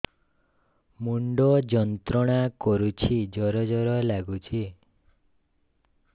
ମୁଣ୍ଡ ଯନ୍ତ୍ରଣା କରୁଛି ଜର ଜର ଲାଗୁଛି